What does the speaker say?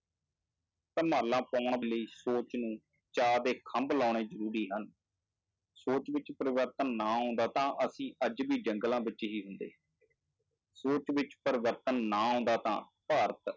ਧਮਾਲਾਂ ਪਾਉਣ ਲਈ ਸੋਚ ਨੂੰ ਚਾਅ ਦੇ ਖੰਭ ਲਾਉਣੇ ਜ਼ਰੂਰੀ ਹਨ, ਸੋਚ ਵਿੱਚ ਪਰਿਵਰਤਨ ਨਾ ਆਉਂਦਾ ਤਾਂ ਅਸੀਂ ਅੱਜ ਵੀ ਜੰਗਲਾਂ ਵਿੱਚ ਹੀ ਹੁੰਦੇ ਸੋਚ ਵਿੱਚ ਪਰਿਵਰਤਨ ਨਾ ਆਉਂਦਾ ਤਾਂ ਭਾਰਤ